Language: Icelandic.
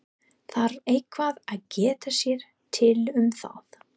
Þarf eitthvað að geta sér til um það?